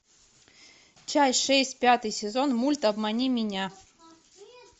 часть шесть пятый сезон мульт обмани меня